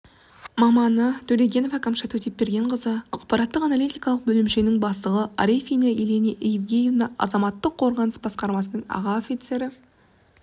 маманы төлегенова кәмшат өтепбергенқызы ақпараттық-аналитикалық бөлімшенің бастығы арефина елена евгеньевна азаматтық қорғаныс басқармасының аға офицері